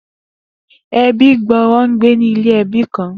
Ebí gbòòrò ń gbé ni ilé ẹbí kan